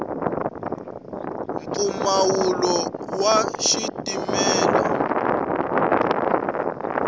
mpfumawulo wa xitimela